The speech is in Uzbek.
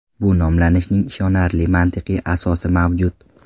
Bu nomlanishning ishonarli mantiqiy asosi mavjud.